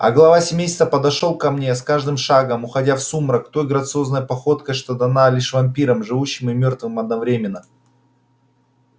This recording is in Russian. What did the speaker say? а глава семейства подошёл ко мне с каждым шагом уходя в сумрак той грациозной походкой что дана лишь вампирам живущим и мёртвым одновременно